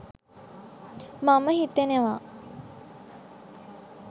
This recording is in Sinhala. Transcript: මම හිතනවා.